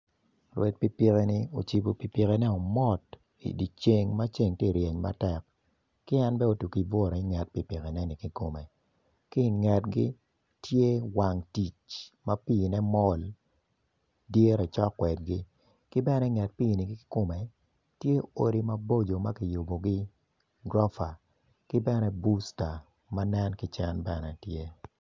Rwed piki piki-ni ocibo pikipikine mot i dye ceng ma ceng tye ka reny matek ki en otiki buto woko i nget piki pikineni ki i ngetgi tye wang tic ma piine mol dire cok kwedgi ki bene i nget piini kikome tye odi maboco ma kiyubogi gurofa ki bene busta.